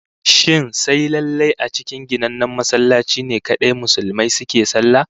Shin sai lallai a cikin ginannen masallaci ne kadai Musulmi suke sallah?